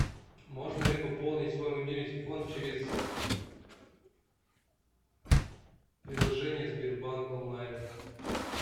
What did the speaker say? можно ли пополнить свой мобильный телефон через приложение сбербанк онлайн